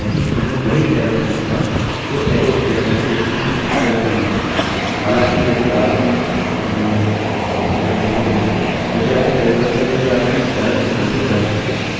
हालाँकि यदि आपकी ummm मैं कैसे बोलूँ यदि आपके प्रयोगकर्ता के लिए आपकी एरर error रिपोर्टिंग बंद है यह आपको वही देगा जो आप चाहते हैं